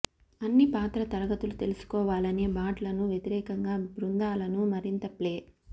అన్ని పాత్ర తరగతులు తెలుసుకోవాలనే బాట్లను వ్యతిరేకంగా బృందాలను మరింత ప్లే